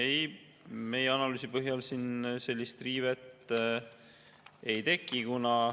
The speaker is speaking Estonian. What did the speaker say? Ei, meie analüüsi põhjal siin sellist riivet ei teki.